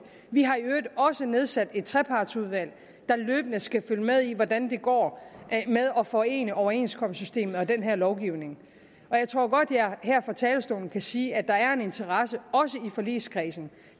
vi har i øvrigt også nedsat et trepartsudvalg der løbende skal følge med i hvordan det går med at forene overenskomstsystemet og den her lovgivning jeg tror godt jeg her fra talerstolen kan sige at der er en interesse også i forligskredsen